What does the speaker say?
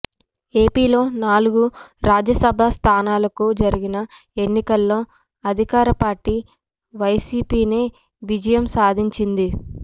ఏపీలో నాలుగు రాజ్యసభ స్థానాలకు జరిగిన ఎన్నికల్లో అధికార పార్టీ వైసీపీనే విజయం సాధించింది